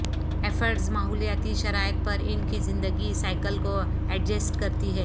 ایفڈز ماحولیاتی شرائط پر ان کی زندگی سائیکل کو ایڈجسٹ کرتی ہے